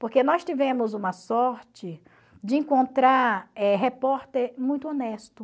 Porque nós tivemos uma sorte de encontrar eh repórter muito honesto.